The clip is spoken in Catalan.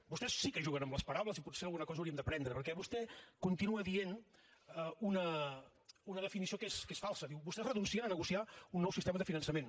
vostès sí que juguen amb les paraules i potser alguna cosa hauríem d’aprendre perquè vostè continua dient una definició que és falsa diu vostès renuncien a negociar un nou sistema de finançament